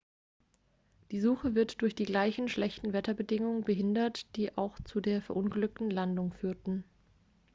die suche wird durch die gleichen schlechten wetterbedingungen behindert die auch zur der verunglückten landung führten